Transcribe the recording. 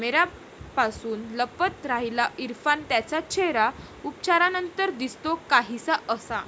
कॅमेऱ्यापासून लपवत राहिला इरफान त्याचा चेहरा, उपचारांनंतर दिसतो काहिसा असा...